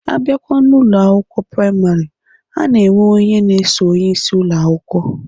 Abịakwa n'Ụlọ akwụkwọ praịmarị, a na-enwe onye na-eso onyeisi Ụlọ akwụkwọ.